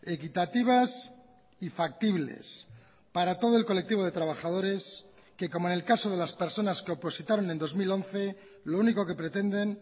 equitativas y factibles para todo el colectivo de trabajadores que como en el caso de las personas que opositaron en dos mil once lo único que pretenden